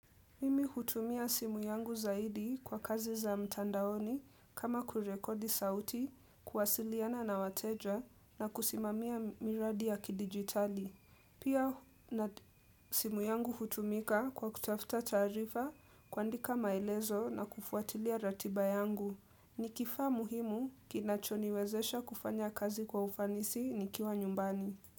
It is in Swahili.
Mimi hutumia simu yangu zaidi kwa kazi za mtandaoni kama kurekodi sauti, kuwasiliana na wateja na kusimamia miradi ya kidigitali. Pia na simu yangu hutumika kwa kutafuta taarifa kuandika maelezo na kufuatilia ratiba yangu. Nikifaa muhimu kinachoniwezesha kufanya kazi kwa ufanisi nikiwa nyumbani.